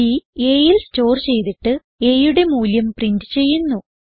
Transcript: ബ് aയിൽ സ്റ്റോർ ചെയ്തിട്ട് aയുടെ മൂല്യം പ്രിന്റ് ചെയ്യുന്നു